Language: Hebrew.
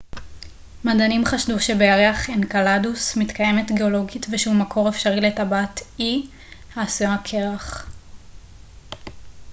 מדענים חשדו שבירח אנקלדוס מתקיימת גאולוגית ושהוא מקור אפשרי לטבעת e של שבתאי העשויה קרח